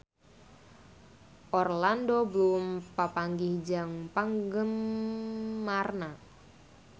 Orlando Bloom papanggih jeung penggemarna